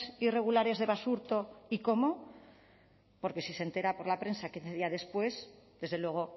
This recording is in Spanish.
irregulares de basurto y cómo porque si se entera por la prensa quince días después desde luego